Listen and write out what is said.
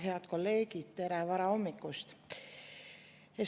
Head kolleegid, tere varahommikust!